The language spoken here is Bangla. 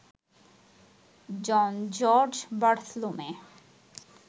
John George Bartholomew